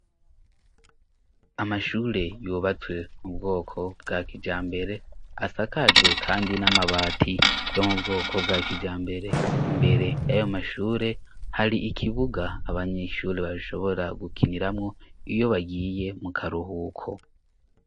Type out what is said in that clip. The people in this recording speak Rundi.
amashure yubatswe mubwoko bwa kijambere asakajwe kandi n'amabati yo mubwoko bwa kijambere mbere yayo mashure hari ikibuga abanyeshure bashobora gukiniramwo iyo bagiye mu karuhuko